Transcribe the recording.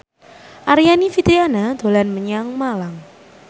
Aryani Fitriana dolan menyang Malang